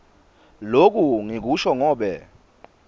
loku ngikusho ngobe